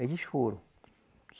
Eles foram.